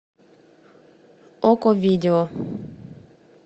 окко видео